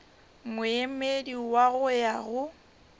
moemedi wa go ya go